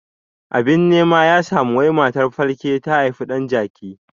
Abin nema ya samu wai matar falke ta haifi ɗan jaki